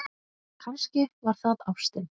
Kannski var það ástin.